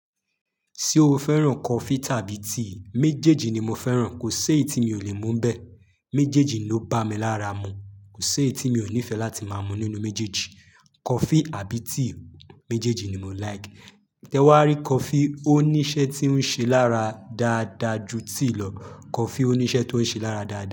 Ṣé o fẹ́ràn coffee tàbí tea? Méjèèjì ni mo fẹ́ràn, kò si eyi tí mi ò lè mu n bẹ́. Méjèèjì ló bá mi lára mu, kò si èyí tí mi ò nífẹ́ láti máa mu nínú méjèèjì. Coffee àbí tea, méjèèjì ni mo like. Tẹ wá rí coffee, ó ní iṣẹ́ tí ó ń ṣe lára dáadáa ju tea lọ. Coffee ó ní iṣẹ́ tó ń ṣe lára dáadáa.